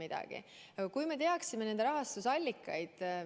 Oleks hea, kui me teaksime nende ühenduste rahastusallikaid.